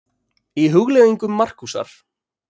Í Hugleiðingum Markúsar